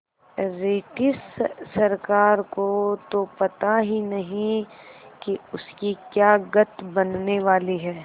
British सरकार को तो पता ही नहीं कि उसकी क्या गत बनने वाली है